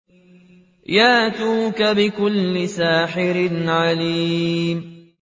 يَأْتُوكَ بِكُلِّ سَاحِرٍ عَلِيمٍ